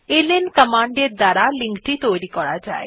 LN command এর দ্বারা link টি তৈরী করা যায়